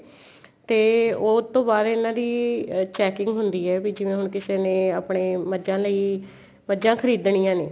ਤੇ ਉਹ ਤੋਂ ਬਾਅਦ ਇੰਨਾ ਦੀ checking ਹੁੰਦੀ ਏ ਬੀ ਜਿਵੇਂ ਹੁਣ ਕਿਸੇ ਨੇ ਆਪਣੇ ਮਝਾ ਲਈ ਮੱਝਾ ਖਰੀਦਣੀਆਂ ਨੇ